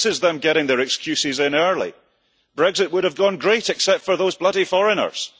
This is them getting their excuses in early Brexit would have gone great except for those bloody foreigners'